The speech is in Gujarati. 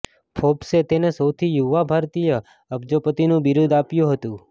ફોર્બ્સે તેને સૌથી યુવા ભારતીય અબજોપતિનું બિરુદ આપ્યું હતું